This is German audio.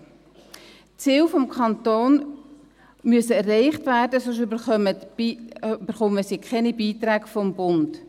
Die Ziele des Kantons müssen erreicht werden, sonst erhalten sie keine Beiträge vom Bund.